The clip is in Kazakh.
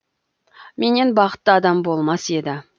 менен бақытты адам болмас еді